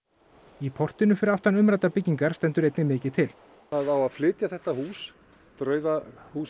í portinu fyrir aftan umræddar byggingar stendur einnig mikið til það á að flytja þetta hús draugahús